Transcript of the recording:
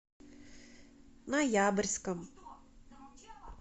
ноябрьском